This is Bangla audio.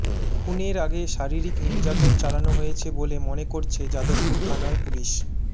খুনের আগে শারীরিক নির্যাতন চালানো হয়েছে বলে মনে করছে যাদবপুর থানার পুলিশ